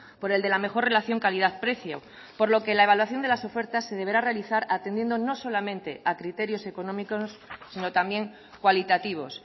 por el de la mejor relación calidad precio por lo que la evaluación de las ofertas se deberá realizar atendiendo no solamente a criterios económicos sino también cualitativos